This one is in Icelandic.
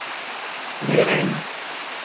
Við reynum.